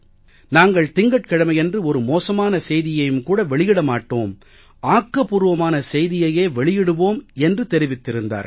நாங்கள் திங்கட்கிழமையன்று ஒரு மோசமான செய்தியையும் கூட வெளியிட மாட்டோம் ஆக்கபூர்வமான செய்தியையே வெளியிடுவோம் என்று தெரிவித்திருந்தார்கள்